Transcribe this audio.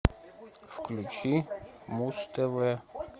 включи муз тв